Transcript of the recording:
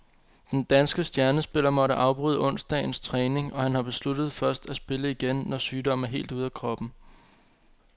Den danske stjernespiller måtte afbryde onsdagens træning, og han har besluttet først at spille igen, når sygdommen er helt ude af kroppen.